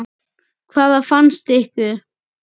Hvað fannst ykkur?